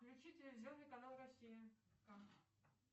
включи телевизионный канал россия